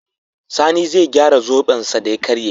sani zai gyara zoben sa da ya karye